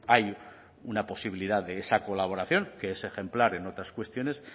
hay una posibilidad de esa colaboración que es ejemplar en otras cuestiones